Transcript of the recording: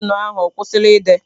Penụ ahụ ọkwụsịla ide?